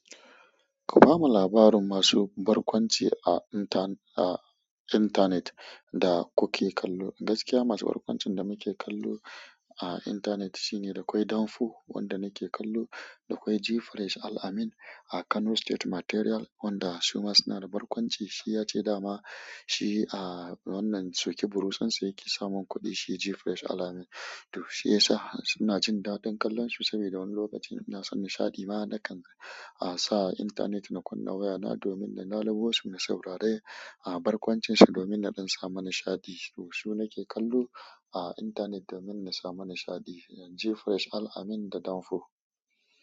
Ku bamu labarin masu barƙwanci a inta-a intanet da kuke kallo. Gaskiya masu barƙwancin da muke kallo a intanet shine dakwai Danfo wanda nake kallo. Da kawai Gfresh Al Amin a Kano State Material wanda suma suna da barƙwanci. Shi ya ce dama shi a wannan sukiburutsunsa yake samun kuɗi. Shi Gfresh Al Amin. To shiyasa suna jin daɗin kallon shi saboda wani lokacin yana son nishaɗi. Mana dakan a sa intanet na kunna waya na domin na labo wasu na saurare a barkwancinsa domin na don samu nishaɗi. To su nake kallo a intanet domin na samu nishaɗi, Gfresh Al Amin da Danfo.